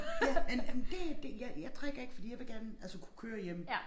Ja men men det det jeg jeg drikker ikke fordi jeg vil gerne altså kunne køre hjem